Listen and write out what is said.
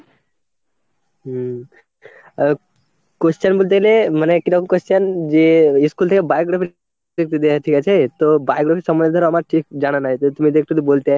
হুম, আ question বলতে এলে মানে কিরম question যে ইস্কুল থেকে biography দেখতে দেয়, ঠিক আছে? তো biography সম্বন্ধে আমার ঠিক জানা নাই, যে তুমি যদি একটু বলতে।